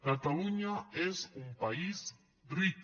catalunya és un país ric